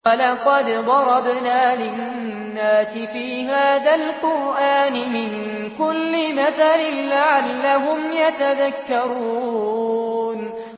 وَلَقَدْ ضَرَبْنَا لِلنَّاسِ فِي هَٰذَا الْقُرْآنِ مِن كُلِّ مَثَلٍ لَّعَلَّهُمْ يَتَذَكَّرُونَ